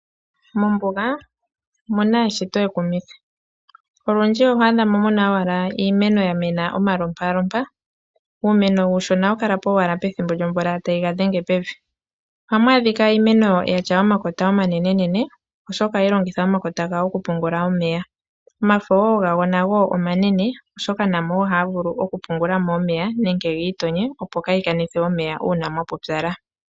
Mombuga omu na eshito ekumithi. Olundji oho adha mo mu na owala iimeno ya mena omalompalompa. Uumeno uushona ohawu kala po owala ethimbo lyomvula tayi ga dhenge pevi. Ohamu adhika iimeno ya tya omakota omanenenene, oshoka ohayi longitha omakota gawo okupungula omeya. Omafo wo gago omanene, oshoka namo wo ohayi vulu okupungula omeya nenge gi itonye opo kaa yi kanithe omeya uuna mwa pupyala.